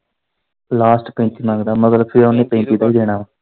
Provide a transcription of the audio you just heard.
last ਪੈਂਤੀ ਮੰਗਦਾ ਮਗਰ ਫਿਰ ਓਨੇ ਪੈਂਤੀ ਦਾ ਹੀ ਦੇਣਾ ਆ।